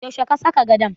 Yaushe ka saka gadon?